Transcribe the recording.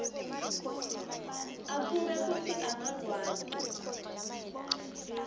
abuke kutsi angakwati